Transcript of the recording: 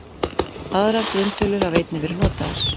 Aðrar grunntölur hafa einnig verið notaðar.